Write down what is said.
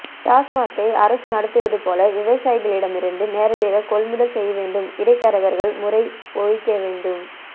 டாஸ்மார்க்கை அரசு நடத்துவதுபோல விவசாயிகளிடம் இருந்து நேரடியாக கொள்முதல் செய்யவேண்டும் இடை தரகர்கள் முறை ஒழிக்கவேண்டும்